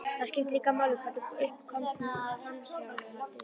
Það skiptir líka máli hvernig upp komst um framhjáhaldið.